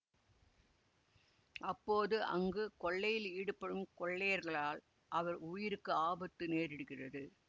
அப்போது அங்கு கொள்ளையில் ஈடுபடும் கொள்ளையர்களால் அவர் உயிருக்கு ஆபத்து நேரிடுகிறது